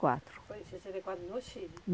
quatro. Foi em sessenta e quatro, no Chile.